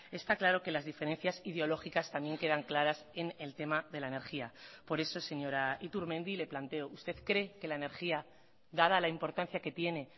está claro que las diferencias ideológicas también quedan claras en el tema de la energía por eso señora iturmendi le planteo usted cree que la energía dada la importancia que tiene